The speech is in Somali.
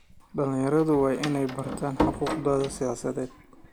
Dhalinyaradu waa inay bartaan xuquuqdooda siyaasadeed.